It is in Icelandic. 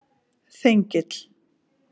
Þengill